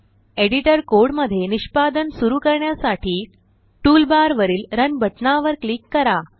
editor code मध्ये निष्पदन सुरू करण्यासाठी टूलबार वरील रन बटना वर क्लिक करा